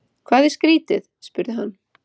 Hvað er skrýtið? spurði hann.